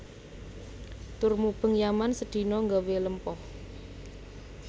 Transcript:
Tur mubeng Yaman sedino nggawe lempoh